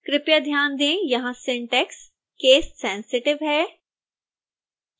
कृपया ध्यान दें यहां सिंटैक्स केससेंसिटिव है